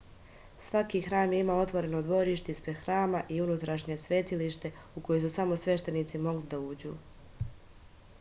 svaki hram je imao otvoreno dvorište ispred hrama i unutrašnje svetilište u koji su samo sveštenici mogli da uđu